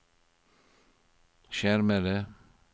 skjermede